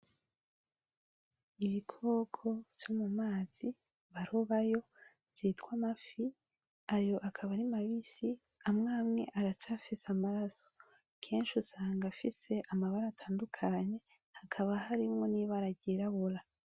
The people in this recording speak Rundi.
Ibikoko vyo mumazi barobayo vyitwa amafi. Ayo akaba ari mabisi. Amwe amwe aracafise amaraso. Kenshi usanga afise amabara atandukanye. Hakaba harimwo ibara ryirabura.